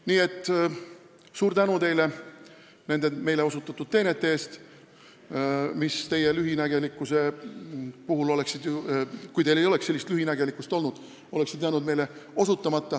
Nii et suur tänu teile nende meile osutatud teenete eest, mis oleksid jäänud osutamata, kui te ei oleks nii lühinägelikud olnud!